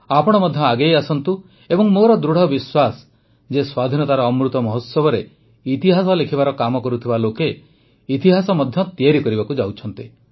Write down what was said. ଆପଣ ମଧ୍ୟ ଆଗେଇ ଆସନ୍ତୁ ଏବଂ ମୋର ଦୃଢ଼ ବିଶ୍ୱାସ ଯେ ସ୍ୱାଧୀନତାର ଅମୃତ ମହୋତ୍ସବରେ ଇତିହାସ ଲେଖିବାର କାମ କରୁଥିବା ଲୋକେ ଇତିହାସ ମଧ୍ୟ ତିଆରି କରିବାକୁ ଯାଉଛନ୍ତି